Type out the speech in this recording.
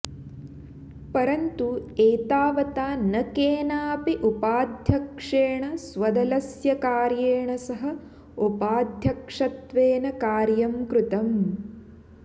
परन्तु एतावता न केनापि उपाध्यक्षेण स्वदलस्य कार्येण सह उपाध्यक्षत्वेन कार्यं कृतम्